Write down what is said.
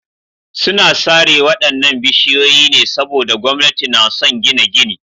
Suna sare waɗannan bishiyoyi ne saboda gwamnati na son gina gini.